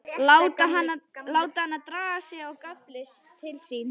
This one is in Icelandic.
Láta hana draga sig inn á gafl til sín.